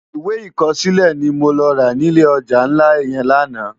Iwé ikòsilé ni mó rá ni ilé òjá nlá yèn làná